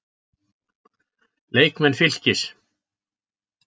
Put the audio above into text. Leikmenn Fylkis